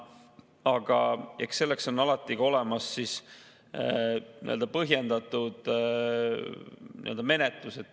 Aga selliseks juhuks on olemas põhjendatud menetlus.